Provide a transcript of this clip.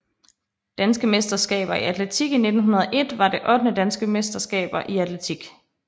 Danske mesterskaber i atletik 1901 var det ottende Danske mesterskaber i atletik